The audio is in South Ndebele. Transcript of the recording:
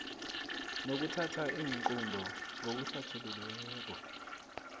nokuthatha iinqunto ngokuhlathululiweko